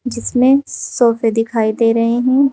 जिस में सोफे दिखाई दे रहे हैं।